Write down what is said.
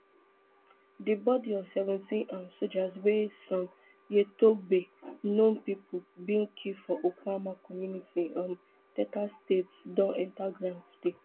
di bodi of seventeen um sojas wey some yettobe known pipo bin kill for okuama community um delta state don enta ground today